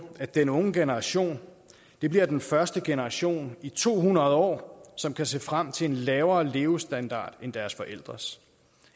at den unge generation bliver den første generation i to hundrede år som kan se frem til en lavere levestandard end deres forældres